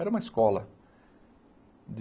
Era uma escola...